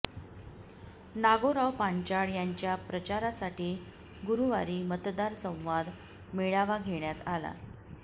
नागोराव पांचाळ यांच्या प्रचारासाठी गुरुवारी मतदार संवाद मेळावा घेण्यात आला